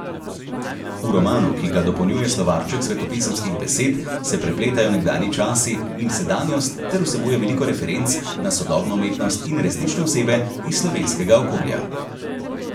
V romanu, ki ga dopolnjuje slovarček svetopisemskih besed, se prepletajo nekdanji časi in sedanjost ter vsebuje veliko referenc na sodobno umetnost in resnične osebe iz slovenskega okolja.